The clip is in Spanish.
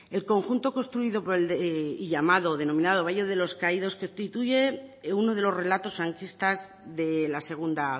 el conjunto construido y denominado valle de los caídos constituye uno de los relatos franquistas de la segundo